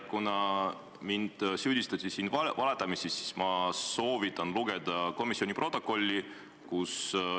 Kuna mind süüdistati siin valetamises, siis ma soovitan lugeda komisjoni protokolli.